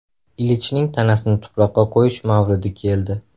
Ilichning tanasini tuproqqa qo‘yish mavridi keldi.